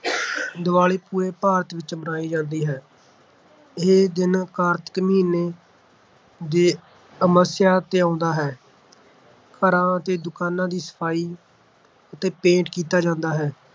ਦੀਵਾਲੀ ਪੂਰੇ ਭਾਰਤ ਵਿੱਚ ਮਨਾਈ ਜਾਂਦੀ ਹੈ। ਇਹ ਦਿਨ ਕਾਰਤਿਕ ਮਹੀਨੇ ਦੇ ਅਮਾਵਸਿਯਾ ਤੇ ਆਉਂਦਾ ਹੈ। ਘਰਾਂ ਅਤੇ ਦੁਕਾਨਾਂ ਦੀ ਸਫਾਈ ਅਤੇ ਪੇਂਟ ਕੀਤਾ ਜਾਂਦਾ ਹੈ।